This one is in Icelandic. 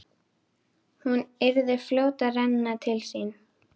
Hún yrði fljót að renna til sinna.